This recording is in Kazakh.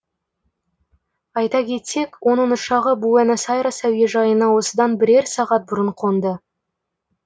айта кетсек оның ұшағы буэнос айрес әуежайына осыдан бірер сағат бұрын қонды